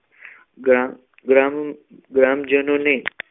ગ્રામ ગ્રામ ગ્રામજનોને